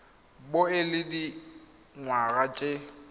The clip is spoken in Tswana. bo o le dingwaga tse